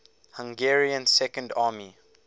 hungarian second army